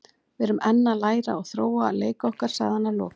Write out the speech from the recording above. Við erum enn að læra og þróa leik okkar, sagði hann að lokum.